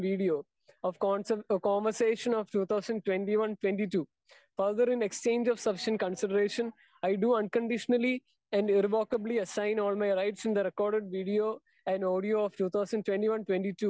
Speaker 2 and video of conversation of two thousand twenty one to twenty two. Further, in exchange of sufficient consideration, I do unconditionally irrevocably assign all my rights in the record video and audio of two thousand twenty one twenty two